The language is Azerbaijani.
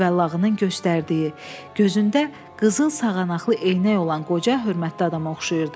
Cüvəllağının göstərdiyi, gözündə qızıl sağanaqlı eynək olan qoca hörmətli adama oxşayırdı.